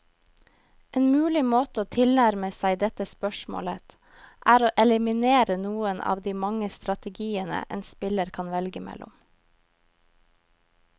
En mulig måte å tilnærme seg dette spørsmålet, er å eliminere noen av de mange strategiene en spiller kan velge mellom.